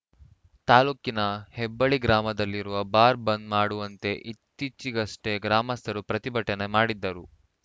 ತಾಲೂಕಿನ ಹೆಬ್ಬಳ್ಳಿ ಗ್ರಾಮದಲ್ಲಿರುವ ಬಾರ್ ಬಂದ್‌ ಮಾಡುವಂತೆ ಇತ್ತೀಚೆಗಷ್ಟೇ ಗ್ರಾಮಸ್ಥರು ಪ್ರತಿಭಟನೆ ಮಾಡಿದ್ದರು